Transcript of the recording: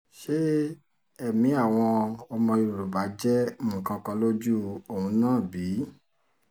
ṣé ẹ̀mí àwọn ọmọ yorùbá jẹ́ nǹkan kan lójú òun náà bí